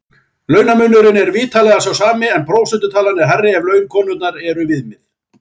Launamunurinn er vitanlega sá sami en prósentutalan er hærri ef laun konunnar er viðmiðið.